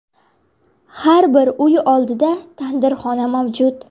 Har bir uy oldida tandirxona mavjud.